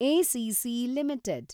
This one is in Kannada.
ACC limited